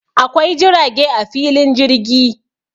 Akwai jirage a filin jirgi